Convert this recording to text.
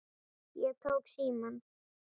Ég tók símann.